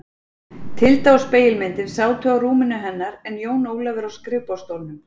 Tilda og spegilmyndin sátu á rúminu hennar en Jón Ólafur á skrifborðsstólnum.